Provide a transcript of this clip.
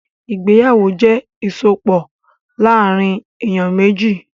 Ìgbéyàwó jẹ́ ìsopọ̀ láàrín èyàn méjì.